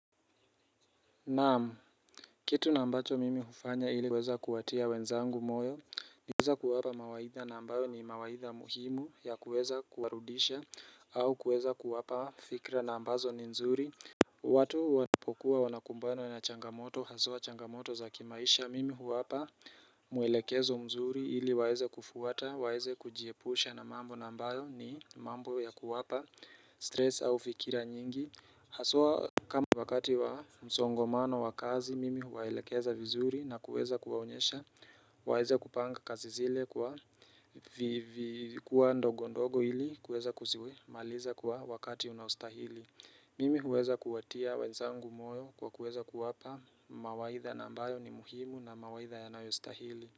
Naam, kitu na ambacho mimi hufanya ili kuweza kuwatia wenzangu moyo ni kuweza kuwapa mawaidha na ambayo ni mawaidha muhimu ya kuweza kuwarudisha au kuweza kuwapa fikra na ambazo ni nzuri watu wanapokuwa wanakumbano na changamoto haswaa changamoto za kimaisha Mimi huwapa mwelekezo mzuri ili waeze kufuata, waeze kujiepusha na mambo na ambayo ni mambo ya kuwapa stress au fikira nyingi Haswaa kama wakati wa msongomano wa kazi mimi huwaelekeza vizuri na kuweza kuwaonyesha Waeza kupanga kazi zile kwa vikwaa ndogo ndogo ili kuweza kuzi maliza kwa wakati unaostahili Mimi huweza kuwatia wenzangu moyo kwa kuweza kuwapa mawaidha na ambayo ni muhimu na mawaidha yanayostahili.